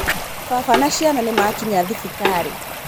Baba na ciana nĩmakinya thibitarĩ.